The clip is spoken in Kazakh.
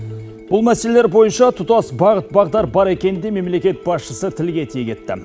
бұл мәселелер бойынша тұтас бағыт бағдар бар екенін де мемлекет басшысы тілге тиек етті